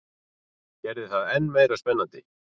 Gerði það enn meira spennandi.